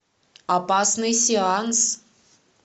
опасный сеанс